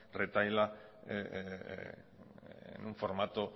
retahíla en un formato